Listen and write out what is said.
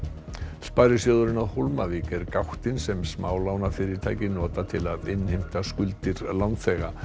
sparisjóðurinn á Hólmavík er gáttin sem smálánafyrirtæki nota til að innheimta skuldir lánþega